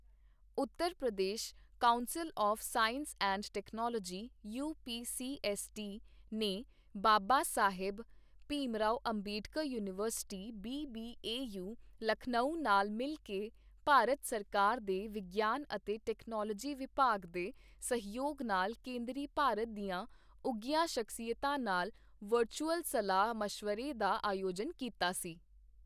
Uttar Pradesh Council of Science and Technology U P C S T , ਨੇ Baba Saheb Bhimrao Ambedkar University B B A U, Lucknow ਨਾਲ ਮਿਲ ਕੇ ਭਾਰਤ ਸਰਕਾਰ ਦੇ ਵਿਗਿਆਨ ਅਤੇ ਟੈਕਨੋਲੋਜੀ ਵਿਭਾਗ ਦੇ ਸਹਿਯੋਗ ਨਾਲ ਕੇਂਦਰੀ ਭਾਰਤ ਦੀਆਂ ਉੱਘੀਆਂ ਸ਼ਖ਼ਸੀਅਤਾਂ ਨਾਲ ਵਰਚੁਅਲ ਸਲਾਹ ਮਸ਼ਵਰੇ ਦਾ ਆਯੋਜਨ ਕੀਤਾ ਸੀ।